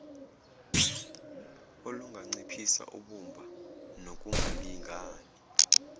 olunganciphisa ubumba nokungalingani